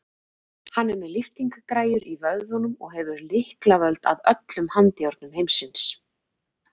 Hann er með lyftingagræjur í vöðvunum og hefur lyklavöld að öllum handjárnum heimsins.